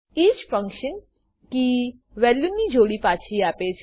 each function key value ની જોડી પાછી આપે છે